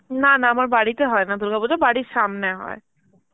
না না আমার বাড়িতে হয় না দুর্গাপুজো, বাড়ির সামনে হয়.